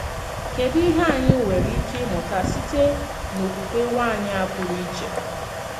Kédù íhè ányì nwerè íké ímùtà sîte n’òkwùkwè nwànyì a pùrù ìchè?